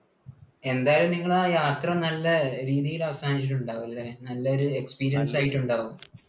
എന്തായാലും നിങ്ങള് യാത്ര നല്ല രീതിയിൽ അവസാനിച്ചിട്ടുണ്ട് ആകും അല്ലേ? നല്ലൊരു experience ആയിട്ടുണ്ടാവും